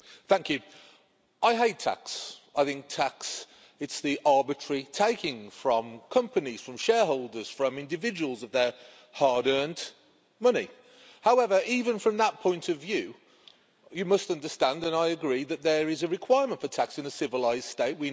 Mr President, I hate tax. I think tax is the arbitrary taking from companies, from shareholders and from individuals of their hard-earned money. However, even from that point of view, you must understand and I agree that there is a requirement for tax in a civilised state.